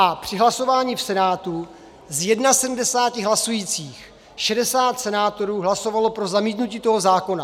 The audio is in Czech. A při hlasování v Senátu ze 71 hlasujících 60 senátorů hlasovalo pro zamítnutí toho zákona.